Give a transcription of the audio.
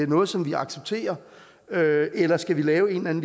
noget som vi accepterer eller skal vi lave en